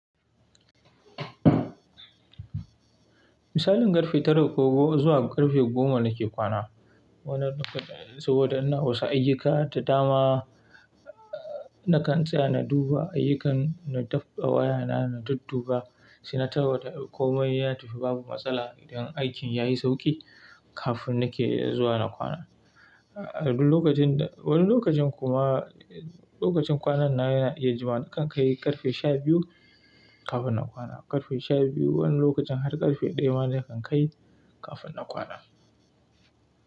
Misalin ƙarfe tara ko goma zuwa ƙarfe goma nake kwana. Wani lokacin saboda ina wasu ayyuka da dama, nakan tsaya na duba ayyukan, na daf da waya na, na dudduba, sai na tarwa da komai ya tafi babu matsala idan aikin ya yi sauƙi kafin nake zuwa na kwana. Wani lokacin kuma lokacin kwanan na yana ya jima nakan kai ƙarfe sha biyu kafin na kwana. Ƙarfe sha biyu wani lokacin har ƙarfe ɗaya ma nakan kai kafin na kwana.